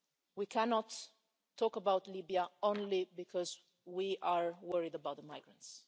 We cannot talk about Libya only because we are worried about the migrants.